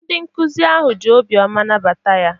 Ndị nkuzi ahụ ji obiọma nabata ya.